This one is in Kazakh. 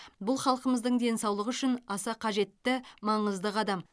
бұл халқымыздың денсаулығы үшін аса қажетті маңызды қадам